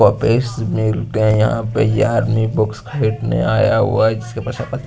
मिलते है यहां पे ये आदमी बुक्स खरीदने आया हुआ है जिसके पास--